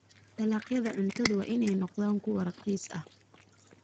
Dalagyada cuntadu waa inay noqdaan kuwo raqiis ah.